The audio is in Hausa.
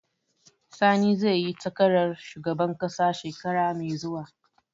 Sani zai yi takarar shugaban ƙasa shekara mai zuwa